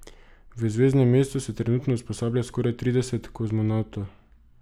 V Zvezdnem mestu se trenutno usposablja skoraj trideset kozmonavtov.